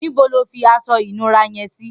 Nibò ló fi aṣọ inùrá yèn si?